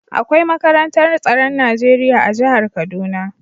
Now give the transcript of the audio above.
Akwai makarantar tsaron Najeriya a jihar kaduna.